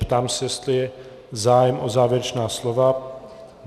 Ptám se, jestli je zájem o závěrečná slova.